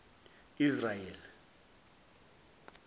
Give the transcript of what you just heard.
israel